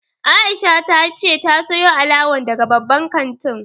Aisha ta ce ta sayo alawan daga babban kantin